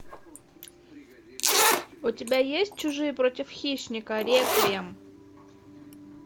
у тебя есть чужие против хищника реквием